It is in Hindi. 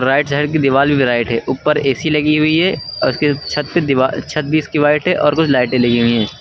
राइट साइड की दीवाल भी व्हाइट है ऊपर ऐ_सी लगी हुई है और उसके छत पे दीवार छत भी इसकी वाइट है और कुछ लाइटें लगी हुई हैं।